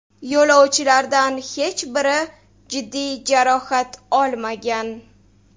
Yo‘lovchilardan hech biri jiddiy jarohat olmagan.